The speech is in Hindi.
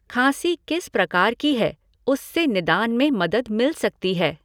खाँसी किस प्रकार की है, उससे निदान में मदद मिल सकती है।